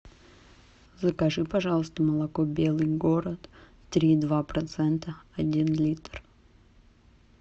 закажи пожалуйста молоко белый город три и два процента один литр